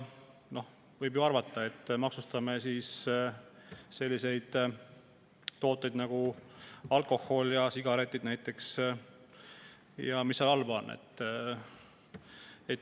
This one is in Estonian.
Noh, võib ju arvata, et maksustame siis selliseid tooteid nagu alkohol ja sigaretid, ja mis selles halba on.